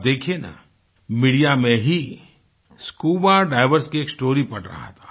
अब देखिये न मीडिया में ही स्कूबा डाइवर्स की एक स्टोरी पढ़ रहा था